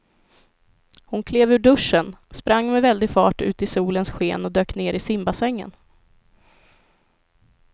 Hon klev ur duschen, sprang med väldig fart ut i solens sken och dök ner i simbassängen.